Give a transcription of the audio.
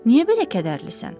Niyə belə kədərlisən?